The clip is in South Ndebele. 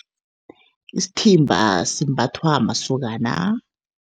Isithimba simbathwa masokana.